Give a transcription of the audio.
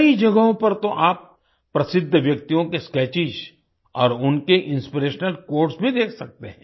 कई जगहों पर तो आप प्रसिद्ध व्यक्तियों के स्केचेस और उनके इंस्पिरेशनल क्वोट्स भी देख सकते हैं